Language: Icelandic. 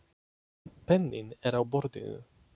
Penninn er á borðinu.